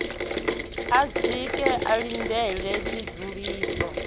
a dzike a ḽindele tsedzuluso